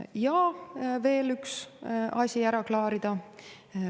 Ja on veel üks asi ära klaarida.